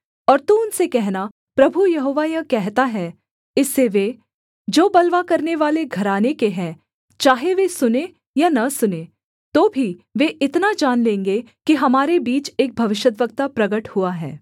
और तू उनसे कहना प्रभु यहोवा यह कहता है इससे वे जो बलवा करनेवाले घराने के हैं चाहे वे सुनें या न सुनें तो भी वे इतना जान लेंगे कि हमारे बीच एक भविष्यद्वक्ता प्रगट हुआ है